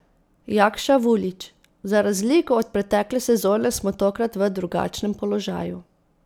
Jakša Vulić: 'Za razliko od pretekle sezone smo tokrat v drugačnem položaju.